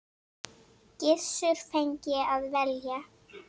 Gissur fengi að velja.